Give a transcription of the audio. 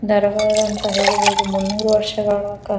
ನಾರ್ಗಾರ ಅಂತ ಹೇಳಬಹುದುದ್ ಮುನ್ನೂರು ವರ್ಷಗಳ ಕ --